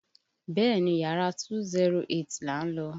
Bẹ́ẹ̀ni, Yàrá 208 là ń lọ.